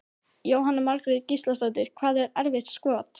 Jóhanna Margrét Gísladóttir: Hvað er erfitt skot?